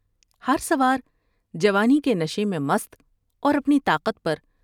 ہرسوار جوانی کے نشے میں مست اور اپنی طاقت پر